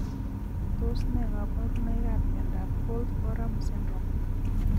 Tos ne kaborunoikab miondop holt oram syndrome.